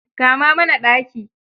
Kama mana ɗaki.